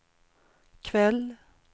kväll